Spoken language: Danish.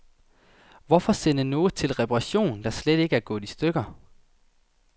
Hvorfor sende noget til reparation, der slet ikke er gået i stykker.